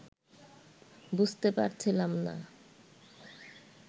বুঝতে পারছিলাম না